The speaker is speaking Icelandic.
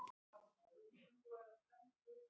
Þá komu þeir aftur og nú mjög prúðmannlegir.